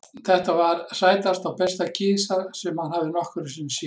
Þetta var sætasta og besta kisa sem hann hafði nokkru sinni séð.